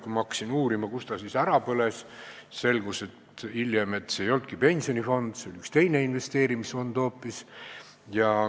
Kui ma hakkasin uurima, kus ta siis ära põles, selgus hiljem, et see ei olnudki pensionifond, oli hoopis üks teine investeerimisfond.